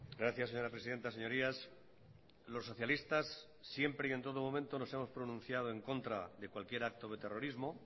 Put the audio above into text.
gracias señora presidenta señorías los socialistas siempre y en todo momento nos hemos pronunciado en contra de cualquier acto de terrorismo